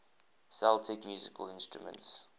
celtic musical instruments